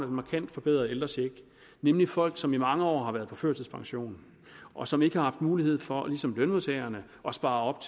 markant forbedrede ældrecheck nemlig folk som i mange år har været på førtidspension og som ikke har haft mulighed for ligesom lønmodtagerne at spare op